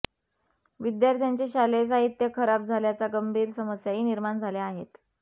विद्याथ्यांचे शालेय साहित्य खराब झाल्याच्या गंभीर समस्याही निर्माण झाल्या आहेत